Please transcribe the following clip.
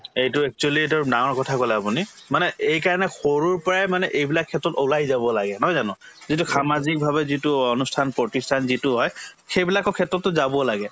এইটো actually ডাঙৰ কথা কলে আপুনি মানে এই কাৰণে সৰুৰ পৰাই মানে এইবিলাক ক্ষেত্ৰত ওলাই যাব লাগে নহয় জানো যিটো সামাজিকভাবে যিটো অনুষ্ঠান-প্ৰতিষ্ঠান যিটো হয় সেইবিলাকৰ ক্ষেত্ৰতো যাব লাগে